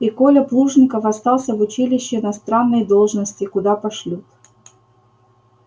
и коля плужников остался в училище на странной должности куда пошлют